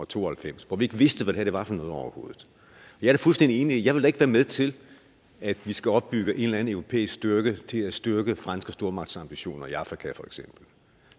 to og halvfems hvor vi ikke vidste hvad det her var for noget overhovedet jeg er fuldstændig enig og vil da ikke være med til at vi skal opbygge en eller anden europæisk styrke til at styrke franske stormagtsambitioner i afrika for eksempel